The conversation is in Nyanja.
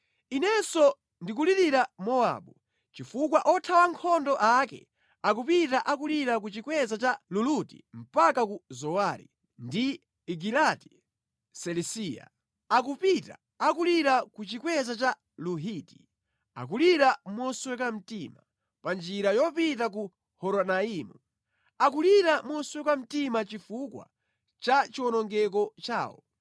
Inenso ndikulirira Mowabu; chifukwa othawa nkhondo ake akupita akulira ku chikweza cha Luluti mpaka ku Zowari ndi Egilati-Selisiya akupita akulira ku chikweza cha Luhiti, Akulira mosweka mtima pa njira yopita ku Horonaimu; akulira mosweka mtima chifukwa cha chiwonongeko chawo.